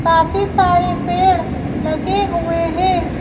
काफी सारे पेड़लगे हुए हैं।